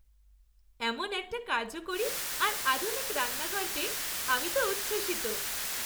এমন একটা কার্যকরী আর আধুনিক রান্নাঘর পেয়ে আমি তো উচ্ছ্বসিত।